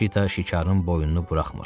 Şita şikarın boynunu buraxmır.